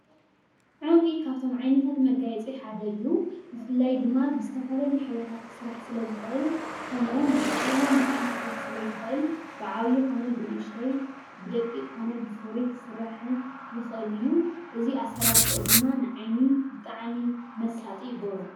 ዕንቚ ካፍቶም ዓይነታት መጋየፂ ሓደ እዩ። ብፍላይ ድማ ብዝተፈላለዩ ሕብሪታት ክስራሕ ስለ ዝኽእል፣ ከምኡዉን ብዝተፈላለየ መጠን ክስራሕ ስለ ዝኽእል፣ በዓብይ ኮነ ብንኡሽተይ፣ ብደቂቅ ኮነ ብፉሩይ ክስራሕ ይኽእል እዩ፡፡ እዚ ኣሰራርሑኡ ድማ ንዓይኒ ብጣዕሚ መሳጢ ይገብሮ፡፡